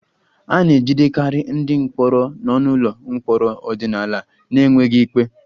A na-ejidekarị ndị mkpọrọ nọ n'ụlọ mkpọrọ ọdịnala n'enweghị ikpe